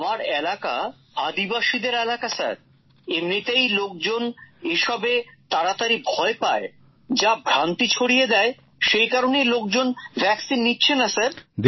আমার এলাকা আদিবাসীদের এলাকা স্যার এমনিতেই লোকজন এসবে তাড়াতাড়ি ভয় পায় যা ভ্রান্তি ছড়িয়ে দেয় সেই কারণেই লোকজন টিকা নিচ্ছে না স্যার